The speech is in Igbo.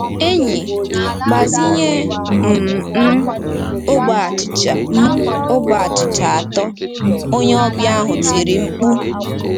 Enyi, gbazinye um m ogbe achịcha m ogbe achịcha atọ, onye ọbịa ahụ tiri mkpu.